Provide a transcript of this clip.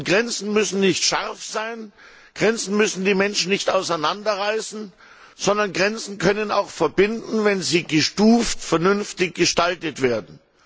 Grenzen müssen nicht scharf sein, Grenzen müssen die Menschen nicht auseinanderreißen, sondern Grenzen können auch verbinden, wenn sie gestuft und vernünftig gestaltet werden.